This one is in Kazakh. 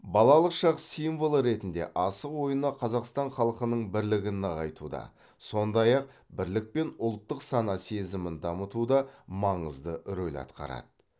балалық шақ символы ретінде асық ойыны қазақстан халқының бірлігін нығайтуда сондай ақ бірлік пен ұлттық сана сезімін дамытуда маңызды рөл атқарады